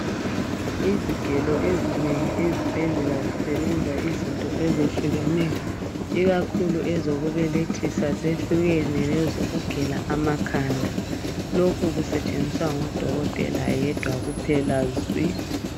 Izigelo ezinengi ezibhedlela zisebenza izinto ezehlukeneyo ikakhulu ezokubelethisa zehlukene lezokugela amakhanda lokhu kusetshenziswa ngudokotela yedwa kuphela zwi.